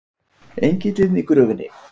ENGILLINN Í GRÖFINNI.